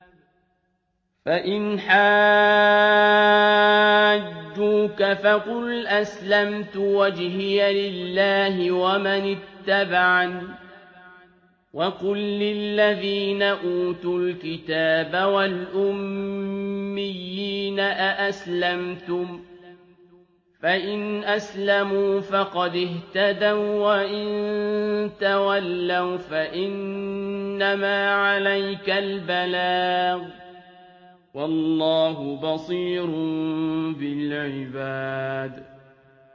فَإِنْ حَاجُّوكَ فَقُلْ أَسْلَمْتُ وَجْهِيَ لِلَّهِ وَمَنِ اتَّبَعَنِ ۗ وَقُل لِّلَّذِينَ أُوتُوا الْكِتَابَ وَالْأُمِّيِّينَ أَأَسْلَمْتُمْ ۚ فَإِنْ أَسْلَمُوا فَقَدِ اهْتَدَوا ۖ وَّإِن تَوَلَّوْا فَإِنَّمَا عَلَيْكَ الْبَلَاغُ ۗ وَاللَّهُ بَصِيرٌ بِالْعِبَادِ